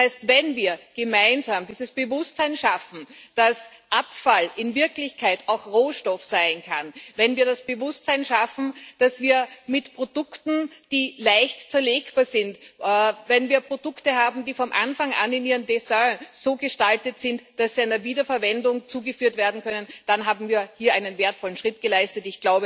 Das heißt, wenn wir gemeinsam dieses Bewusstsein schaffen, dass Abfall in Wirklichkeit auch Rohstoff sein kann, wenn wir das Bewusstsein schaffen, dass wir mit Produkten, die leicht zerlegbar sind, Produkte haben, die von Anfang an in ihrem Design so gestaltet sind, dass sie einer Wiederverwendung zugeführt werden können, dann haben wir hier einen wertvollen Schritt geleistet.